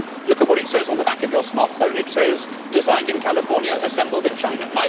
If you look at what it says on the back of your smartphone, it says designed in California, assembled in China'.